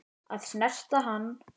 Að snerta hana.